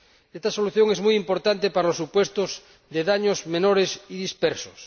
Esta solución es muy importante para los supuestos de daños menores y dispersos.